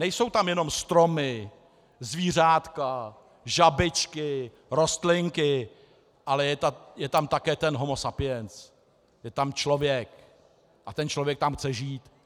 Nejsou tam jenom stromy, zvířátka, žabičky, rostlinky, ale je tam také ten Homo sapiens, je tam člověk a ten člověk tam chce žít.